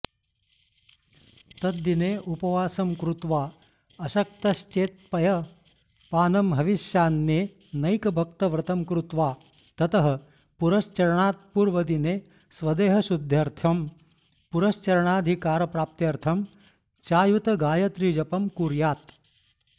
तद्दिने उपवासं कृत्वा अशक्तश्चेत्पयःपानं हविष्यान्ने नैकभक्तव्रतं कृत्वा ततः पुरश्चरणात्पूर्वदिने स्वदेहशुद्ध्यर्थं पुरश्चरणाधिकारप्राप्त्यर्थं चायुतगायत्रीजपं कुर्यात्